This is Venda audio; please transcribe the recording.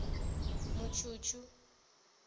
mutshutshu